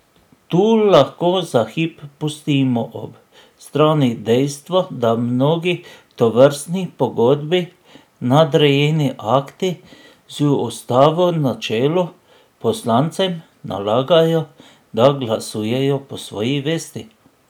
Tu lahko za hip pustimo ob strani dejstvo, da mnogi, tovrstni pogodbi nadrejeni akti, z ustavo na čelu, poslancem nalagajo, da glasujejo po svoji vesti.